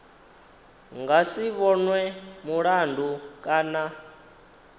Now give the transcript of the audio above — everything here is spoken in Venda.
nga si vhonwe mulandu kana